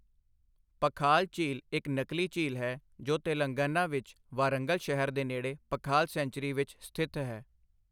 ਪਖਾਲ ਝੀਲ ਇੱਕ ਨਕਲੀ ਝੀਲ ਹੈ ਜੋ ਤੇਲੰਗਾਨਾ ਵਿੱਚ ਵਾਰੰਗਲ ਸ਼ਹਿਰ ਦੇ ਨੇੜੇ ਪਖਾਲ ਸੈਂਚਰੀ ਵਿੱਚ ਸਥਿਤ ਹੈ।